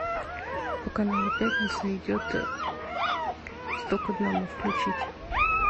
по каналу пятница идет сто к одному включить